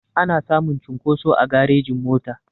Ana samun cunkoso a garejin mota